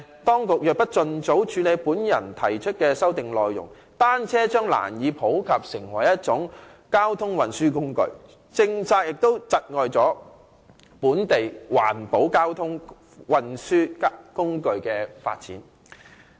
當局若不盡早處理我提出的修正案的內容，單車將難以普及成為一種交通運輸工具，有關政策亦窒礙本地環保交通運輸工具的發展。